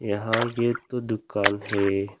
यहाँ ये तो दुकान है।